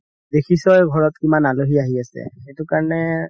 দেখিছই ঘৰত কিমান আলহি আহি আছে সেইটো কাৰণে